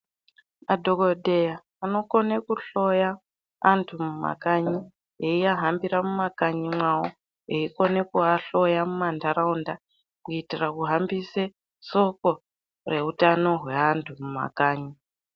Madhokodheya anokona kuhloya vantu mumakanyi eivahambira mumakanyi mawo veikona kuvahloya mumandaraunda kuitira kuhambisa Soko hutano rweantu mumakanyi.